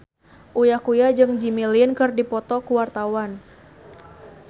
Uya Kuya jeung Jimmy Lin keur dipoto ku wartawan